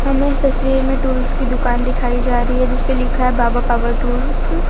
हमें इस तस्वीर में टूल्स की दुकान दिखाई जा रही है जिस पे लिखा है बाबा पावर टूल्स ।